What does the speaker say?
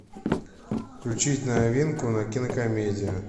включить новинку на кинокомедия